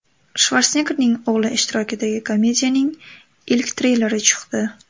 Shvarseneggerning o‘g‘li ishtirokidagi komediyaning ilk treyleri chiqdi.